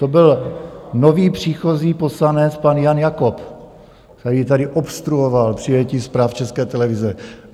To byl nově příchozí poslanec pan Jan Jakob, který tady obstruoval přijetí zpráv České televize.